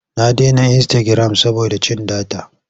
Na dena insitagiram saboda cin data.